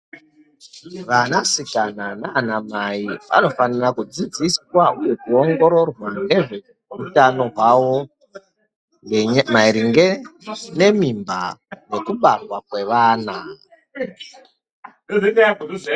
Vanasikana nanamai vanofira kudzidziswa uye ongororwa nezvehutano hwawo maringe nemimba nekubarwa kwevana.